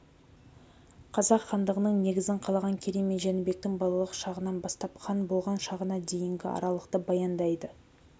қазақ хандығының негізін қалаған керей мен жәнібектің балалық шағынан бастап хан болған шағына дейінгі аралықты баяндайды